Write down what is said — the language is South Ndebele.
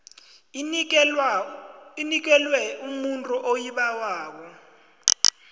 inikelwe umuntu oyibawako